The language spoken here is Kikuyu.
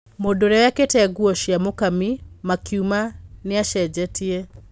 Mũndũũrĩa wekĩrite nguo cia Mũkami makiuma nĩacicenjetie.